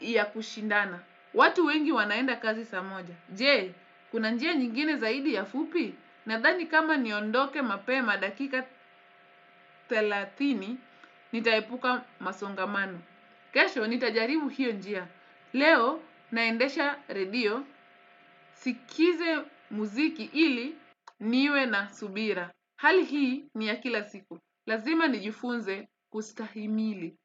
ya kushindana. Watu wengi wanaenda kazi saa moja. Jee, kuna njia nyingine zaidi ya fupi? Nadhani kama niondoke mapema dakika thelathini nitaepuka masongamano. Kesho, nitajaribu hiyo njia. Leo naendesha redio sikize muziki ili niwe na subira. Hali hii ni ya kila siku. Lazima nijifunze kustahimili.